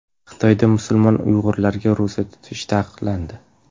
Xitoyda musulmon uyg‘urlarga ro‘za tutish taqiqlandi.